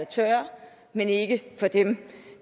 tørre men ikke for dem